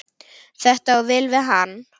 Þetta á vel við hann.